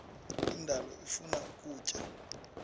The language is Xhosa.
indalo ifuna ukutya